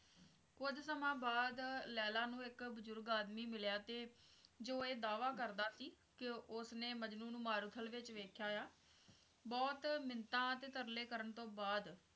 ਕੁੱਝ ਸਮਾਂ ਬਾਅਦ ਲੈਲਾ ਨੂੰ ਇੱਕ ਬਜ਼ੁਰਗ ਆਦਮੀ ਮਿਲਿਆ ਤੇ ਜੋ ਇਹ ਦਾਅਵਾ ਕਰਦਾ ਕੀ ਕੇ ਉਸਨੇ ਮਜਨੂੰ ਨੂੰ ਮਾਰੂਥਲ ਵਿੱਚ ਵੇਖਿਆ ਆ ਬਹੁਤ ਮਿੰਨਤਾਂ ਤੇ ਤਰਲੇ ਕਰਨ ਤੋਂ ਬਾਅਦ